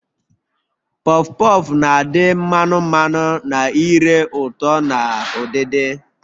Pọf pọf na adị mmanu mmanu na ire ụtọ na udidi